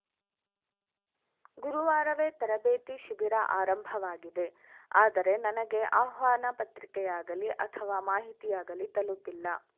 ಗುರುವಾರವೇ ತರಬೇತಿ ಶಿಬಿರ ಆರಂಭವಾಗಿದೆ ಆದರೆ ನನಗೆ ಆಹ್ವಾನ ಪತ್ರಿಕೆಯಾಗಲಿ ಅಥವಾ ಮಾಹಿತಿಯಾಗಲೀ ತಲುಪಿಲ್ಲ